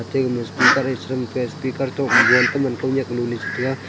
tabun speaker e chal rang te speaker to mobile teman kao nyak lu le chu tega.